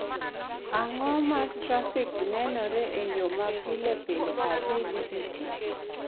Ang�o ma trafik nenore e yo ma pile pile adhigo e tich?